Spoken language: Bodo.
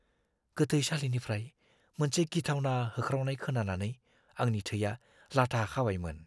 गोथैसालिनिफ्राय मोनसे गिथावना होख्रावनाय खोनानानै आंनि थैया लाथा खाबायमोन।